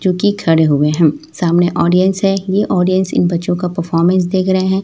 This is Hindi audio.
जी की खड़े हुए हैं सामने ऑडियंस है ये ऑडियंस इन बच्चों का परफार्मेंस देख रहे हैं।